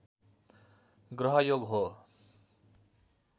ग्रहयोग हो